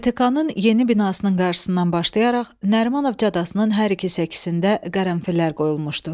DTK-nın yeni binasının qarşısından başlayaraq Nərimanov caddəsinin hər iki səkisində qərənfillər qoyulmuşdu.